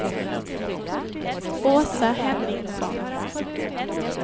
Åsa Henningsson